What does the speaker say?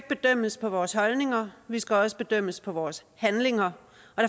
bedømmes på vores holdninger vi skal også bedømmes på vores handlinger